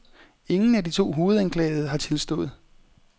Ingen af de to hovedanklagede har tilstået.